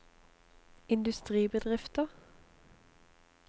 industribedrifter